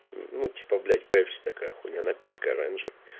ну типа блять пепси такая хуйня напиток оранжевый